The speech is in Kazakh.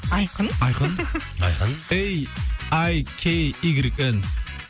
айқын айқын айқын ей ай кей игрек эн